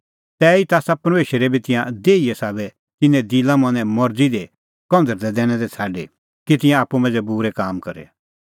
तैही आसा परमेशरै बी तिंयां देहीए साबै तिन्नें दिलामनें मरज़ी दी कंझ़रदै दैनै दै छ़ाडी कि तिंयां आप्पू मांझ़ै बूरै काम करे